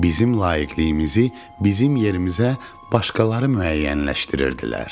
Bizim layiqiliyimizi bizim yerimizə başqaları müəyyənləşdirirdilər.